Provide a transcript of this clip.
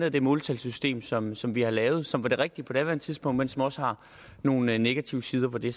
af det måltalsystem som som vi har lavet og som var det rigtige på daværende tidspunkt men som også har nogle negative sider hvor det